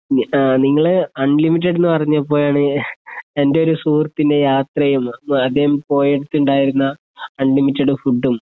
ഉം ആ നിങ്ങള് അൺലിമിറ്റഡ് ന്നുപറഞ്ഞപ്പോഴാണ് എൻ്റെ ഒരു സുഹൃത്തിനെ യാത്ര ചെയ്യുന്നത് ആദ്യം പോയിടത്തുണ്ടായിരുന്ന അൺലിമിറ്റഡ് ഫുഡും